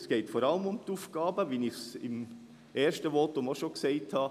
Es geht es vor allem um die Aufgaben, wie ich sie im ersten Votum auch schon genannt habe: